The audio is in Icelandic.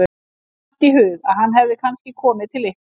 Mér datt í hug að hann hefði kannski komið til ykkar.